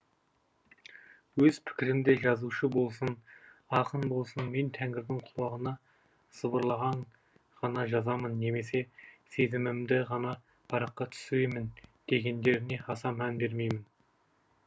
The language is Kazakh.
өз пікірімде жазушы болсын ақын болсын мен тәңірдің құлағыма сыбырлағанын ғана жазамын немесе сезімімді ғана параққа түсіремін дегендеріне аса мән бермеймін